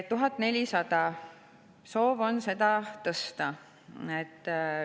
1400 eurot – soov on seda tõsta.